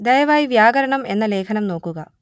ദയവായി വ്യാകരണം എന്ന ലേഖനം നോക്കുക